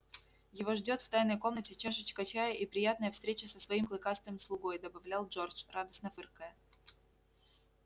его ждёт в тайной комнате чашечка чая и приятная встреча со своим клыкастым слугой добавлял джордж радостно фыркая